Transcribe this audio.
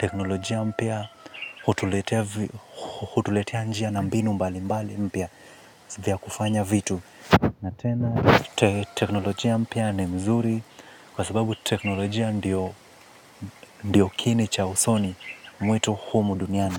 teknolojia mpya hutuletea njia na mbinu mbali mpya za kufanya vitu. Na tena, teknolojia mpya ni nzuri kwa sababu teknolojia ndio kiini cha usomi wetu humu duniani.